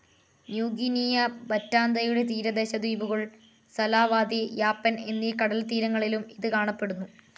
New Guinea, ബറ്റാന്തയുടെ തീരദേശ ദ്വീപുകൾ, സലാവാതി, യാപ്പൻ എന്നീ കടൽത്തീരങ്ങളിലും ഇത് കാണപ്പെടുന്നു.